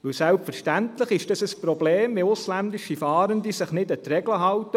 Denn selbstverständlich ist es ein Problem, wenn ausländische Fahrende sich nicht an die Regel halten.